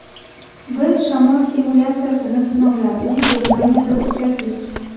Biz shamol simulyatsiyasini sinovlarini Germaniyada o‘tkazdik.